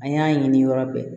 An y'a ɲini yɔrɔ bɛɛ